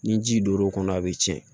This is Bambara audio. Ni ji donn'o kɔnɔ a bɛ tiɲɛ